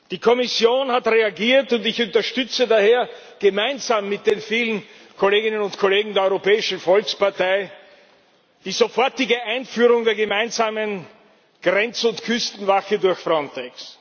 Die Kommission hat reagiert, und ich unterstütze daher gemeinsam mit den vielen Kolleginnen und Kollegen der Europäischen Volkspartei die sofortige Einführung der gemeinsamen Grenz und Küstenwache durch Frontex.